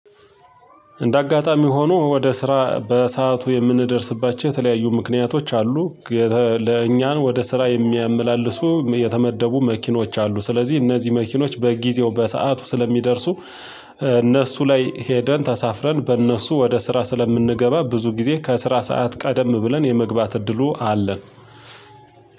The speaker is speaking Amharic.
እንደ አጋጣሚ ሆኖ ወደ ስራ በሰአቱ የምንደርስባቸው የተለያዩ ምክንያቶች አሉ። ለእኛን ወደ ስራ የሚያመላልሱ የተመደቡ መኪኖች አሉ ስለዚህ እነዚህ መኪኖች በጊዜው በሰአቱ ስለሚደርሱ። እነሱ ላይ ሄደን ተሳፍረን በእነሱ ወደ ስራ ስለምንገባ ብዙ ጊዜ ከስራ ሰዓት ቀደም ብለን የመግባት እድሉ አለን።